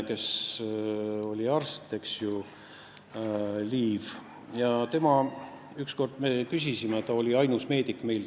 See oli härra Liiv, kes oli meie tollases fraktsioonis ainus meedik.